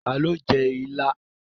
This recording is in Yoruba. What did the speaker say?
Ta lo jẹ́ ilá?